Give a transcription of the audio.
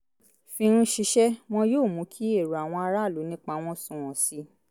fi ń ṣiṣẹ́ wọn yóò mú kí èrò àwọn aráàlú nípa wọn sunwọ̀n sí i